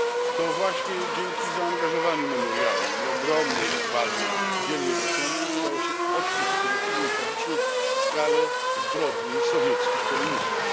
To właśnie dzięki zaangażowaniu Memoriału i ogromnej odwadze wielu jego członków udało się odkryć przed opinią publiczną skalę zbrodni sowieckich komunistów.